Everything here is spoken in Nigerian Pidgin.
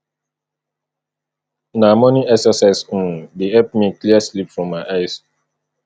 na morning exercise um dey help me clear sleep from my eyes